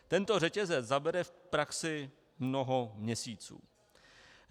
Tento řetězec zabere v praxi mnoho měsíců.